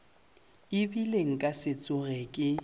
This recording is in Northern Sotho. ebile nka se tsoge ke